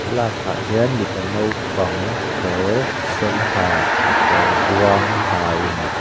thlalakah hian mipa nopang kawr sen ha kekawr buang ha in--